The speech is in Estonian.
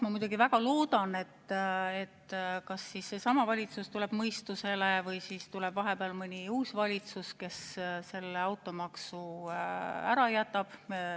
Ma muidugi väga loodan, et kas see valitsus tuleb mõistusele või siis tuleb vahepeal uus valitsus, kes selle automaksu ära jätab.